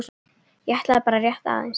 ég ætlaði bara rétt aðeins.